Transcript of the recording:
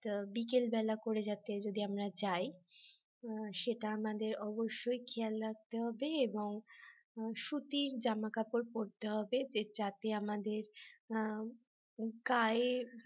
বিকেলবেলা করে যাতে যদি আমরা যাই সেটা আমাদের অবশ্যই খেয়াল রাখতে হবে এবং সুতির জামা কাপড় পড়তে হবে যাতে আমাদের গায়ে